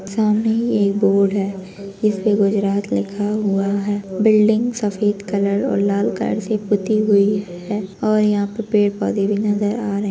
सामने ही एक बोर्ड है जिस पे गुरजात लिखा हुआ है बिल्डिंग सफेद कलर और लाल कलर से पुती हुई है और यहाँ पेड़ पौधे भी नजर आ रहे --